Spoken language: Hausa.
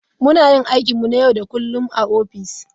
Muna yin aikinmu na yau da kullun a ofis.